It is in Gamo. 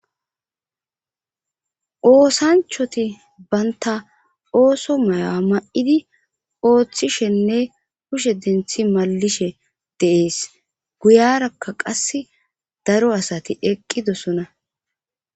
oosanchchatti bantta ooso may'o ma'idii ooththishenne kushe denththi maallishe de'ees guyarakka qasi daro asati eqqidosona